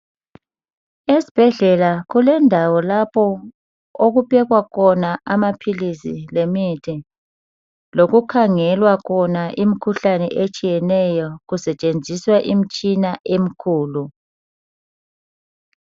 Esibhedlela kulendawo lapho okuphekwa khona amaphilisi lemithi sawlokukhangela khona imikhuhlane etsheneyo kusentshenziswa imitshina emikhulu.